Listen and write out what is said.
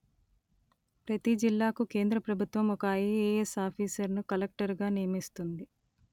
ప్రతీ జిల్లాకు కేంద్ర ప్రభుత్వం ఒక ఐ“_letterఏ“_letterఎస్ ఆఫీసరును కలక్టరుగా నియమిస్తుంది